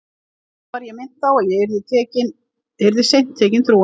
Enn var ég minnt á að ég yrði seint tekin trúanleg.